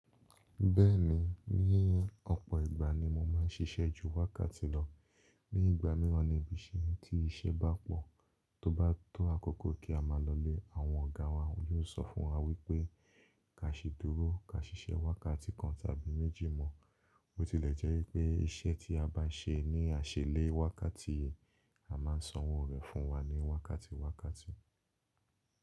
Bẹ́ẹ̀ni, ní ọ̀pọ̀ ìgbà ni mo máa ń ṣiṣẹ́ ju wákàtí lọ. Ní ìgbà míràn níbi tí iṣẹ́ bá pọ̀, tó bá tó àkókò kí a máa lọ lé, àwọn ọ̀gá wa yóò sọ fún wa wípé ka ṣi dúró, ka ṣiṣẹ́ wákàtí kan tàbí méjì mọ́. Tilẹ̀ jẹ́ wípé iṣẹ́ tí a bá ṣe ní aṣélẹ̀ wákàtí, a máà ń sanwó rẹ̀ fún wa ní wákàtí wákàtí.